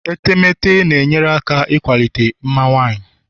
etemeete na-enyere aka ịkwalite mma nwanyị